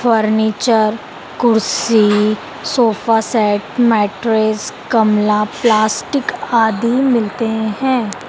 Furniture कुर्सी sofa set mattress गमला plastic आदि मिलते हैं।